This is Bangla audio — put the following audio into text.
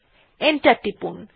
এন্টার টিপলাম